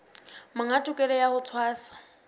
monga tokelo ya ho tshwasa